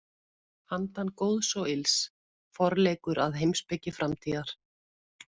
Handan góðs og ills: Forleikur að heimspeki framtíðar.